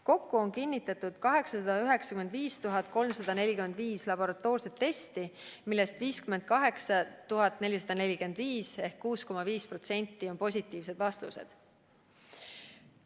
Kokku on kinnitatud 895 345 laboratoorset testi, millest 58 445 ehk 6,5% on olnud positiivsed vastused.